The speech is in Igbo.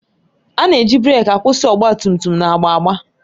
A na-eji breeki kwụsị ọgba tum tum na-agba agba.